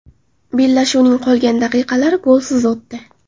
Bellashuvning qolgan daqiqalari golsiz o‘tdi.